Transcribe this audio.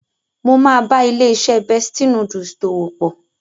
Mo máa bá ilé-iṣẹ́ Bestie Noodles dòwò pọ̀.